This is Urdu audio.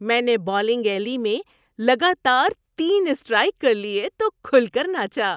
میں نے بولنگ ایلی میں لگاتار تین اسٹرائیک کر لیے تو کھل کر ناچا۔